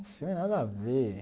Os filme nada a ver.